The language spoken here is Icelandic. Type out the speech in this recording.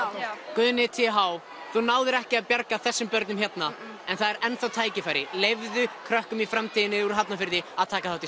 Guðni t h þú náðir ekki að bjarga þessum börnum hérna en það er enn þá tækifæri leyfðu krökkum í framtíðinni úr Hafnarfirði að taka þátt í